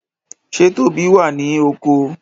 Ṣe Tóbi wá ní oko?